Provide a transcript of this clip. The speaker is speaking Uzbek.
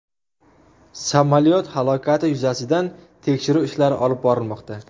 Samolyot halokati yuzasidan tekshiruv ishlari olib borilmoqda.